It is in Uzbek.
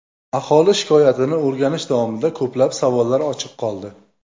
Aholi shikoyatini o‘rganish davomida ko‘plab savollar ochiq qoldi.